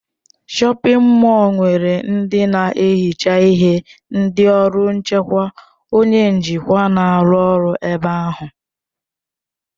Shọpin mọll nwere ndị na-ehicha ihe, ndị ọrụ nchekwa, onye njikwa, na-arụ ọrụ ebe ahụ.